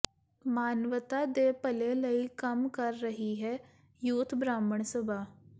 ਮਾਨਵਤਾ ਦੇ ਭਲੇ ਲਈ ਕੰਮ ਕਰ ਰਹੀ ਹੈ ਯੂਥ ਬ੍ਰਾਹਮਣ ਸਭਾ